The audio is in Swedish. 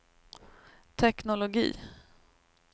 teknologi